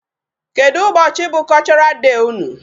Kedụ ụbọchị bụ Cultural day unu?